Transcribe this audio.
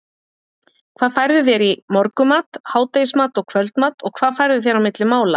hvað færðu þér í morgunmat, hádegismat og kvöldmat og hvað færðu þér á milli mála?